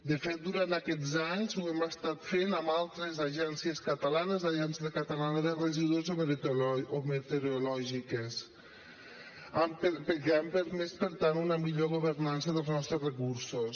de fet durant aquests anys ho hem estat fent amb altres agències catalanes agència catalana de residus o meteorològiques que han permès per tant una millor governança dels nostres recursos